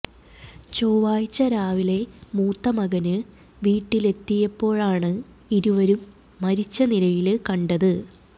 ചൊവ്വാഴ്ച രാവിലെ മൂത്ത മകന് വീട്ടിലെത്തിയപ്പോഴാണ് ഇരുവരും മരിച്ച നിലയില് കണ്ടത്